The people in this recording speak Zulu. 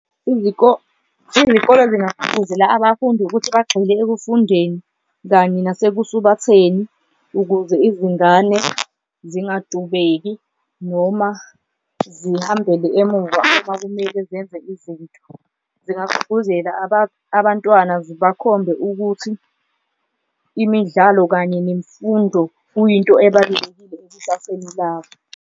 Izikole zingagqugquzela abafundi ukuthi bagxile ekufundeni kanye nasekusubatheni, ukuze izingane zingatubeki noma zihambele emuva uma kumele zenze izinto, zingagqugquzela abantwana zibakhombe ukuthi imidlalo kanye nemfundo kuyinto ebalulekile ekusaseni labo.